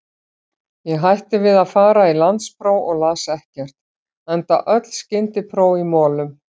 Ég hætti við að fara í landspróf og las ekkert, enda öll skyndipróf í molum.